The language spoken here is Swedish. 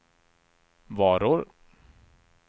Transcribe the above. varor